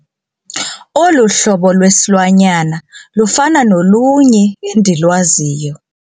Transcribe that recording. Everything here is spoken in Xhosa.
Olu hlobo lwesilwanyana lufana nolunye endilwaziyo.